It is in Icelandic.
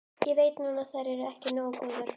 Ég veit núna að þær eru ekki nógu góðar.